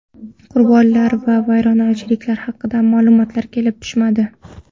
Qurbonlar va vayronagarchiliklar haqida ma’lumotlar kelib tushmadi.